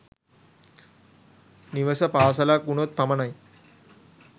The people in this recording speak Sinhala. නිවස පාසලක් වුණොත් පමණයි.